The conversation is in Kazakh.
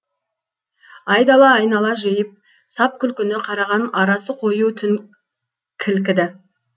айдала айнала жиып сап күлкіні қараған арасы қою түн кілкіді